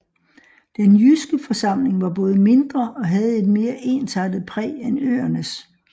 Den jyske forsamling var både mindre og havde et mere ensartet præg end øernes